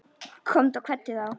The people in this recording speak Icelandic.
Komdu og kveddu þá.